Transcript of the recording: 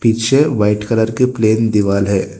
पीछे white colour की plain दीवार है।